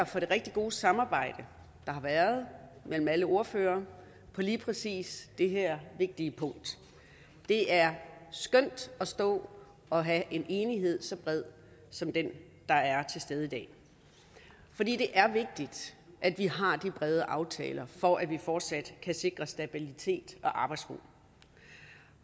for det rigtig gode samarbejde der har været mellem alle ordførere på lige præcis det her vigtige punkt det er skønt at stå og have en enighed så bred som den der er til stede i dag fordi det er vigtigt at vi har de brede aftaler for at vi fortsat kan sikre stabilitet og arbejdsro